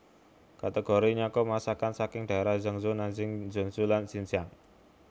Kategori nyakup masakan saking daerah Yangzhou Nanjing Suzhou lan Zhenjiang